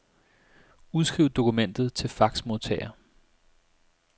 Udskriv dokumentet til faxmodtager.